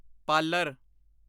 parlour